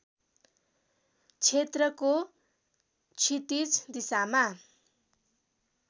क्षेत्रको क्षितिज दिशामा